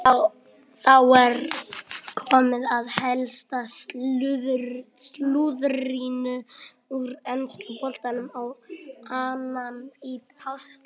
Þá er komið að helsta slúðrinu úr enska boltanum á annan í páskum.